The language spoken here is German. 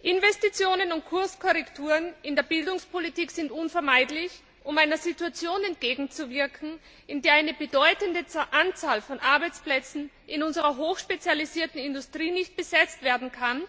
Investitionen und Kurskorrekturen in der Bildungspolitik sind unvermeidlich, um einer Situation entgegenzuwirken, in der eine bedeutende Anzahl von Arbeitsplätzen in unserer hoch spezialisierten Industrie nicht besetzt werden kann,